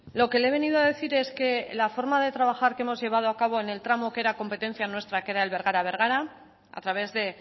lo que le he venido a decir es que la forma de trabajar que hemos llevado a cabo en el tramo que era competencia nuestra que era el bergara bergara a través de